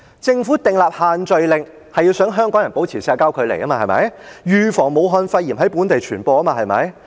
政府訂立限聚令是希望香港人保持社會距離，預防武漢肺炎在本地傳播，對嗎？